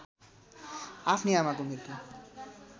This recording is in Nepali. आफ्नी आमाको मृत्यु